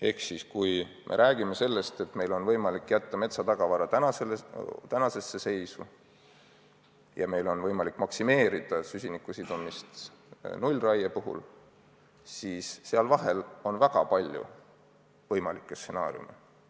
Ehk siis, kui me räägime sellest, et meil on võimalik jätta metsatagavara tänasesse seisu ja meil on võimalik maksimeerida süsiniku sidumist nullraiega, siis seal vahel on väga palju muid võimalikke stsenaariume.